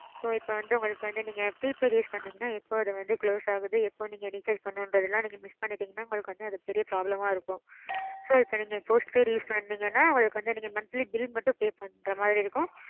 so இப்போ வந்து உங்களுக்கு வந்து நீங்க prepaid use பண்ணிங்கன்னா எப்போ அது வந்து close ஆகுது எப்போ நீங்க recharge பண்றது அதெல்லாம் நீங்க miss பண்ணிட்டிங்கனா உங்களுக்கு வந்து அது ரொம்ப பெரிய problem ஆ இருக்கும். so இப்போ நீங்க post paid use பண்ணீங்கனான்னா உங்களுக்கு வந்து நீங்க monthly bill மட்டும் pay பண்ற மாதிரி இருக்கும்.